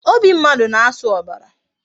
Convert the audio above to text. Obi mmadụ na-asụ ọbara